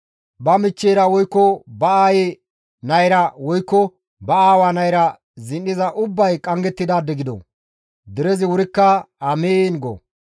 «Ba michcheyra woykko ba aayi nayra woykko ba aawa nayra zin7iza ubbay qanggettidaade gido!» Derezi wurikka, «Amiin» go.